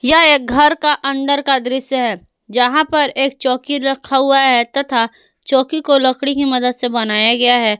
यह एक घर का अंदर का दृश्य है जहां पर एक चौकी रखा हुआ है तथा चौकी को लकड़ी की मदद से बनाया गया है।